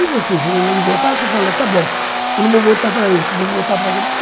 E você chegando lá de votar, você fala, está bom, eu não vou votar para esse, vou votar para aquele.